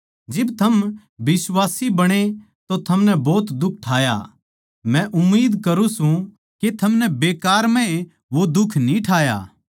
जिब थम बिश्वासी बणे तो थमनै भोत दुख ठाया मै उम्मीद करुँ सूं के थमनै बेकार म्ह ए वो दुख न्ही ठाया